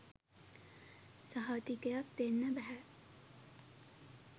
සහතිකයක් දෙන්න බැහැ.